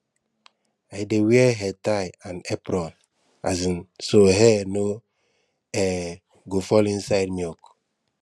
i dey wear headtie and apron um so hair no um go fall inside milk